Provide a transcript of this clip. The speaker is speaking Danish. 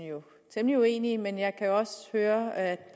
temmelig uenige men jeg kan også høre at